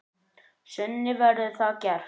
Sunna: Verður það gert?